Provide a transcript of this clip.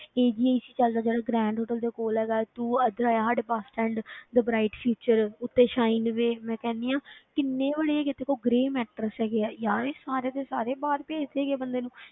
AGI 'ਚ ਚੱਲ ਜਾ ਜਿਹੜਾ grand hotel ਦੇ ਕੋਲ ਹੈਗਾ ਹੈ, ਤੂੰ ਇੱਧਰ ਆ ਜਾ ਸਾਡੇ bus stand the bright future ਉੱਤੇ shineway ਵੀ ਮੈਂ ਕਹਿੰਦੀ ਹਾਂ ਕਿੰਨੇ ਵੱਡੇ ਇੱਕ ਤੇਰੇ ਕੋਲ ਗਰੇਅ ਮੈਟਰਸ ਹੈਗੇ ਆ, ਯਾਰ ਇਹ ਸਾਰੇ ਦੇ ਸਾਰੇ ਬਾਹਰ ਭੇਜਦੇ ਹੈਗੇ ਆ ਬੰਦੇ ਨੂੰ,